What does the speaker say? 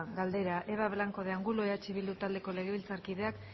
galdera eva blanco de angulo eh bildu taldeko legebiltzarkideak